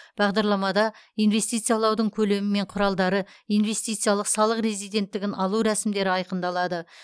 бағдарламада инвестициялаудың көлемі мен құралдары инвестициялық салық резиденттігін алу рәсімдері айқындалады